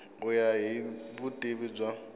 ku ya hi vutivi bya